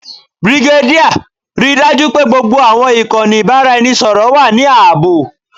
Brigadier, rii daju pe gbogbo awọn ikanni ibaraẹnisọrọ wa ni aabo.